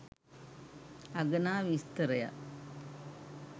අගනා විස්තරයක්